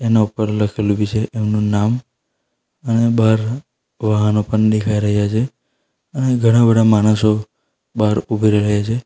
ના ઉપર લખેલું બી છે એનું નામ અને બહાર વાહનો પણ દેખાય રહ્યા છે અને ઘણા બધા માણસો બહાર ઉભી રહ્યા છે.